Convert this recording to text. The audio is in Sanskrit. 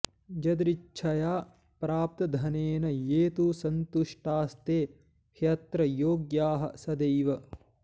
यदृच्छया प्राप्तधनेन ये तु संतुष्टास्ते ह्यत्र योग्याः सदैव